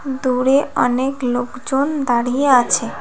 দূরে অনেক লোকজন দাঁড়িয়ে আছে।